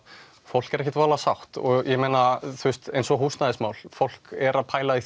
fólk er ekkert voðalega sátt og eins og húsnæðismál fólk er að pæla í